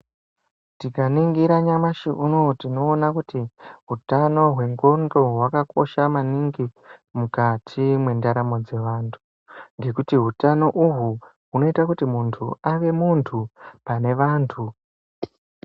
Tikananingira nyamashi unowu tinoona kuti hutano hwendxondo hwakakosha maningi mukati mwendaramo dzevantu ngekuti utano uhwu hunoita kuti muntu ave muntu panevantu.